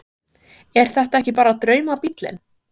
Þórhildur: Er þetta ekki bara draumabíllinn?